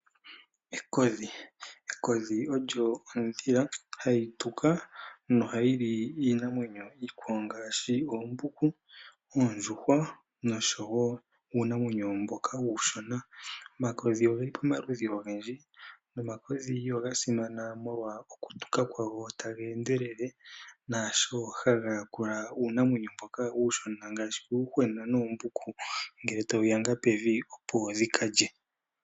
Ekodhi . Ekodhi olyo edhila hali tuka nohalili iinamwenyo iikwawo ngaashi oombuku ,oondjuhwa oshowo uunamwenyo mboka uushona .omakodhi ogeli pomaludhi ogendji nomakodhi oga simana molwa okutuka kwawo taga endelele naasho haga yakula uunamwenyo mboka uushona ngaashi uuyuhwena noombuku ngele tawu yanga pevi opo dhikalye.